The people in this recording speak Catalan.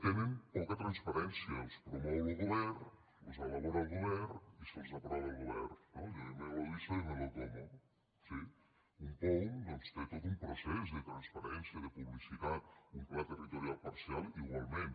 tenen poca transparència els promou lo govern los elabora el govern i los aprova el govern no allò de yo me lo guiso yo me lo como sí un poum doncs té tot un procés de transparència de publicitat un pla territorial parcial igualment